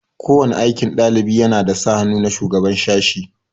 Ko wani aikin ɗalibi yana da sa hannu na shugaban sashi.